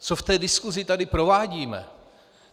Co v té diskusi tady provádíme?